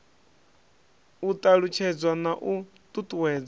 u ṱalutshedzwa na u ṱuṱuwedzwa